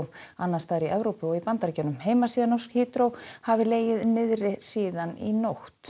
annars staðar í Evrópu og í Bandaríkjunum heimasíða Norsk hafi legið niðri síðan í nótt